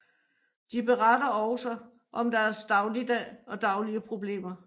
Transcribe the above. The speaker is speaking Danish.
De beretter også om deres dagligdag og daglige problemer